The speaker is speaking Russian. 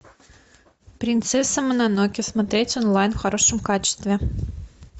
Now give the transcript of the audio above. принцесса мононоке смотреть онлайн в хорошем качестве